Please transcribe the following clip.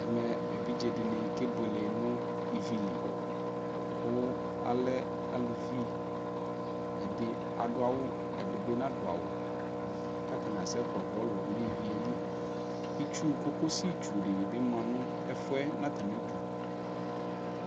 Ɛmɛ evidzedɩnɩ kebuele nʋ ivi li kʋ alɛ aluvi Ɛdɩ adʋ awʋ, ɛdɩ bɩ nadʋ awʋ k'atanɩ asɛ kpɔ bɔlʋ n'ivi yɛ li, itsu, cocosi tsu dɩnɩ bɩ ma nʋ ɛfʋ yɛ natamidu